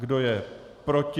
Kdo je proti?